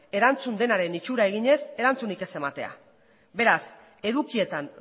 erantzun denaren itxura eginez erantzunik ez ematea beraz edukietan